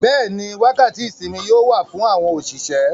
Bẹ́ẹ̀ni, wákàtí ìsinmi yóò wà fún àwọn òṣìṣẹ́.